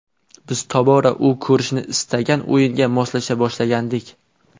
Biz tobora u ko‘rishni istagan o‘yinga moslasha boshlagandik.